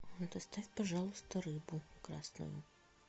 доставь пожалуйста рыбу красную